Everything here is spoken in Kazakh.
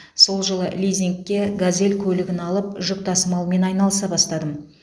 сол жылы лизингке газель көлігін алып жүк тасымалымен айналыса бастадым